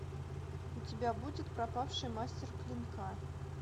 у тебя будет пропавший мастер клинка